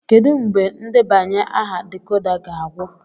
Kedu mgbe ndebanye aha decoder ga-agwụ?